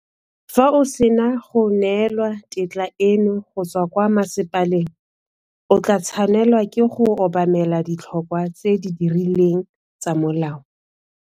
Fa o sena go neelwa tetla eno go tswa kwa masepaleng, o tla tshwanela ke go obamela ditlhokwa tse di rileng tsa molao.